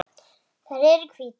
Þær eru hvítar.